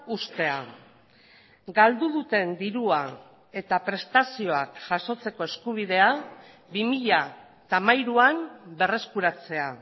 uztea galdu duten dirua eta prestazioak jasotzeko eskubidea bi mila hamairuan berreskuratzea